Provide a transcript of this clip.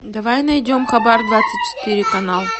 давай найдем хабар двадцать четыре канал